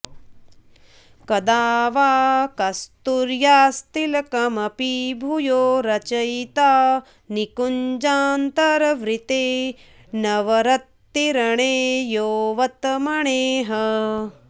कदा वा कस्तूर्यास्तिलकमपि भूयो रचयिता निकुञ्जान्तर्वृत्ते नवरतिरणे यौवतमणेः